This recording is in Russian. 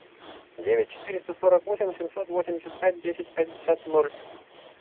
девять четыреста сорок восемь семьсот восемьдесят пять десять пятьдесят ноль